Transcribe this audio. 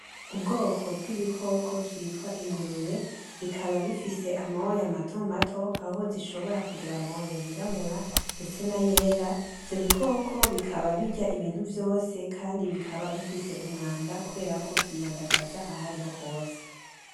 Ubwoko bw'ibikoko vyitwa ingurube bikaba bifise amoya mato mato aho zishobora kugira amoya yirabura ndetse n'ayera. Ivyo bikoko bikaba birya ibintu vyose kandi bikaba bifise umwanda kubera ko vyiyandagaza ahariho hose.